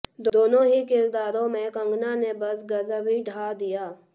दोनों ही किरदारों में कगंना ने बस गजब ही ढा दिया